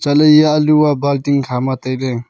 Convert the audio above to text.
lah ley eya alu ah balti khama tailey.